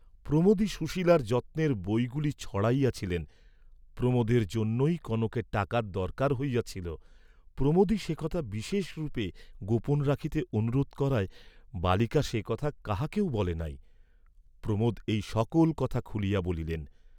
প্রমোদই সুশীলার যত্নের বই গুলি ছড়াইয়াছিলেন, প্রমোদের জন্যই কনকের টাকার দরকার হইয়াছিল, প্রমোদই সে কথা বিশেষ রূপে গোপন রাখিতে অনুরোধ করায় বালিকা সে কথা কাহাকেও বলে নাই, প্রমোদ এই সকল কথা খুলিয়া বলিলেন।